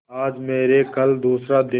आज मरे कल दूसरा दिन